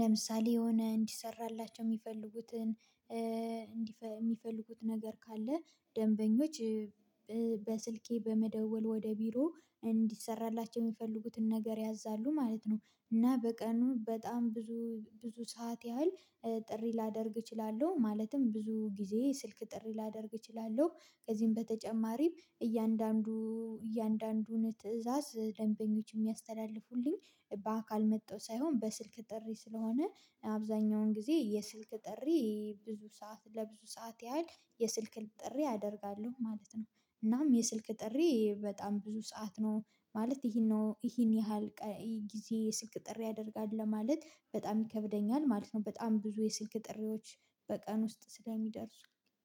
ለምሳሌ የሆነ እንዲሰራላቸው የሚፈልጉትን የሚፈልጉት ነገር ካለ ደንበኞች በስልኬ በመደወል ወደ ቢሮ እንዲሰራላቸው የሚፈልጉትን ነገር ያዛሉ ማለት ነው። እና በቀኑ በጣም ብዙ ብዙ ሰዓት ያህል ጥሪ ላደርግ እችላለሁ ማለትም ብዙ ጊዜ ስልክ ጥሪ ላደርግ እችላለሁ። ከዚህም በተጨማሪም እያንዳንዱ እያንዳንዱን ትእዛዝ ደንበኞች የሚያስተላልፉልኝ በአካል መጥተው ሳይሆን በስልክ ጥሪ ስለሆነ አብዛኛውን ጊዜ የስልክ ጥሪ ብዙ ሰዓት ለብዙ ሰዓት ያህል የስልክ ጥሪ አደርጋለው ማለት ነው። እናም የስልክ ጥሪ በጣም ብዙ ሰዓት ነው ማለት ይሄን ነው ይሄን ያህል ጊዜ የስልክ ጥሪ ያደርጋል ለማለት በጣም ይከብደኛል ማለት ነው። በጣም ብዙ የስልክ ጥሪዎች በቀን ውስጥ ስለሚደርሱ